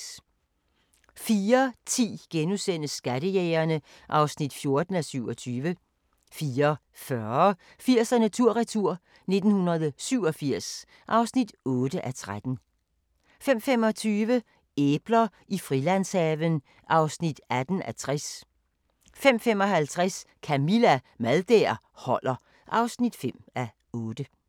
04:10: Skattejægerne (14:27)* 04:40: 80'erne tur-retur: 1987 (8:13) 05:25: Æbler i Frilandshaven (18:60) 05:55: Camilla – Mad der holder (5:8)